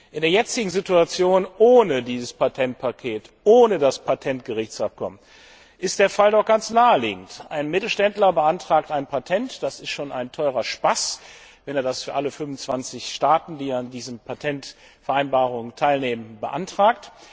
In der jetzigen Situation ohne dieses Patentpaket, ohne das Patentgerichtsabkommen ist der Fall doch ganz naheliegend Ein Mittelständler beantragt ein Patent, das ist schon ein teurer Spaß, wenn er das für alle 25 Staaten, die an diesen Patentvereinbarungen teilnehmen, beantragt.